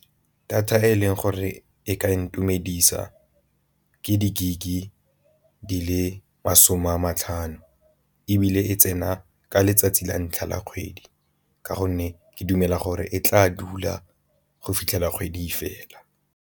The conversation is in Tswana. Data e leng gore e ka intumedisa ke di-gig e di le masome a matlhano, ebile e tsena ka letsatsi la ntlha la kgwedi ka gonne ke dumela gore e tla dula go fitlhela kgwedi fela.